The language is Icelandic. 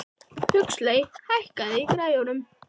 Huxley, hækkaðu í græjunum.